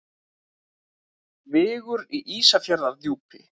Vigur í Ísafjarðardjúpi.